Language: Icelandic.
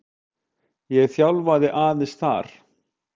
Ég þjálfaði aðeins þar.